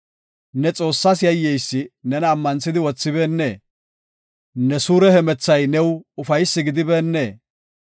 Ne Xoossaas yayyeysi nena ammanthidi wothibeennee? Ne suure hemethay new ufaysi gidibeennee?